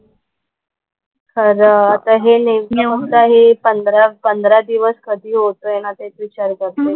खरं. आता हे नेमके होते हे पंधरा पंधरा दिवस कधी होतंय ना तेच विचार करतेय.